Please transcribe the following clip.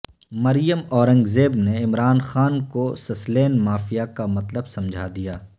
مریم اورنگزیب نے عمران خان کو Sicilian mafia کا مطلب سمجھا دیا